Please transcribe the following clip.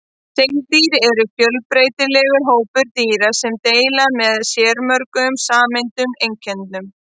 Seildýr eru fjölbreytilegur hópur dýra sem deila með sér mörgum sameiginlegum einkennum.